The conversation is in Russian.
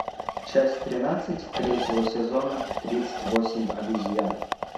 часть тринадцать третьего сезона тридцать восемь обезьян